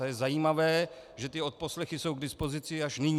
A je zajímavé, že ty odposlechy jsou k dispozici až nyní.